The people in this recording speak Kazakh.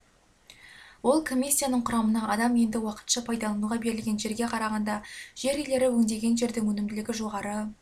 ол комиссияның құрамына адам енді уақытша пайдалануға берілген жерге қарағанда жер иелері өңдеген жердің өнімділігі жоғары